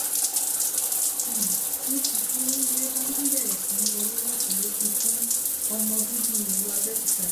n ní kìkì oríire bá tún bẹ̀rẹ̀ sí í wọlé lọ́tùn-ún lósì fún ọmọ bíbí ìlú abẹ́òkúta yìí